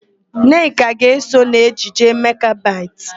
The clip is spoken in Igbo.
Nneka ga-eso n'ejije Makbetị.